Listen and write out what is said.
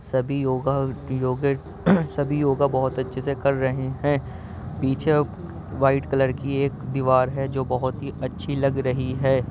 सभी योगा योगट सभी योगा बहुत अच्छे से कर रहे हैं पीछे वाइट कलर की एक दीवार है जो बहुत ही अच्छी लग रही है।